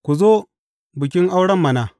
Ku zo bikin auren mana.’